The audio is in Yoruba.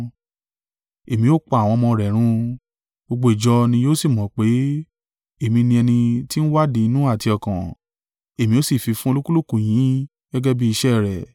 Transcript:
Èmi o pa àwọn ọmọ rẹ̀ run; gbogbo ìjọ ni yóò sì mọ̀ pé, èmi ni ẹni tí ń wádìí inú àti ọkàn, èmi ó sì fi fún olúkúlùkù yín gẹ́gẹ́ bí iṣẹ́ rẹ̀.